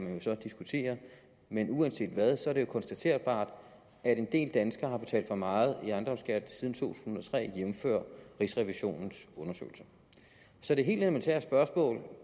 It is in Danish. jo så diskutere men uanset hvad er det jo konstaterbart at en del danskere har betalt for meget i ejendomsskat siden to tusind og tre jævnfør rigsrevisionens undersøgelse så det helt elementære spørgsmål